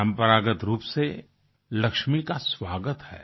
परंपरागत रूप से लक्ष्मी का स्वागत है